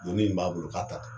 Donni min b'a bolo k'a ta tɛ